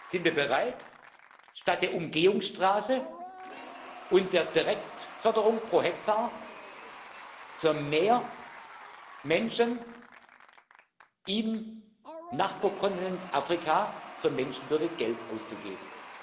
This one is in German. Sind wir bereit, statt der Umgehungsstraße und der Direktförderung pro Hektar für mehr Menschen im Nachbarkontinent Afrika für Menschenwürde Geld auszugeben?